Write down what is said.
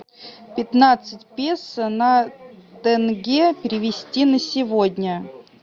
пятнадцать песо на тенге перевести на сегодня